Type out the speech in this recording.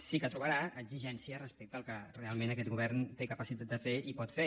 sí que trobarà exigències respecte al que realment aquest govern té capacitat de fer i pot fer